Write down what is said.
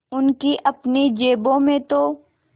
उनकी अपनी जेबों में तो